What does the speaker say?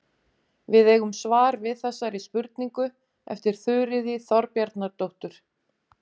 Við eigum svar við þessari spurningu eftir Þuríði Þorbjarnardóttur.